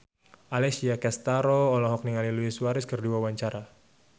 Alessia Cestaro olohok ningali Luis Suarez keur diwawancara